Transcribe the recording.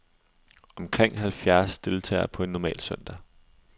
Omkring halvfjerds deltager på en normal søndag.